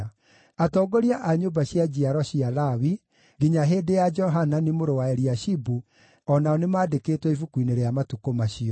Atongoria a nyũmba cia njiaro cia Lawi nginya hĩndĩ ya Johanani mũrũ wa Eliashibu o nao nĩmandĩkĩtwo ibuku-inĩ rĩa matukũ macio.